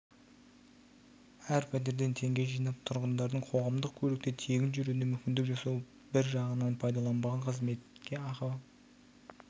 әр пәтерден теңге жинап тұрғындардың қоғамдық көлікте тегін жүруіне мүмкіндік жасау бір жағынан пайдаланбаған қызметке ақы